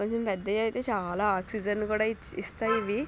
ఇంకొంచం పెద్దై అయితే చాలా ఆక్సిజన్ కూడా ఇస్తాయి ఇవి.